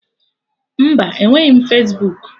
Mba, enweghị Fesbuku